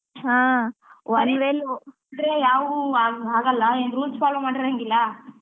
ಹಾ one way ಅಲ್ಲಿ ಹೋದ್ರೆ ಯಾವು ಆಗಲ್ಲ ಏನ್ rules follow ಮಾಡಿರಂಗಿಲ್ಲ.